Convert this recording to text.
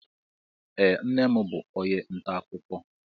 Ee, nnem bú onye ntà akụkọ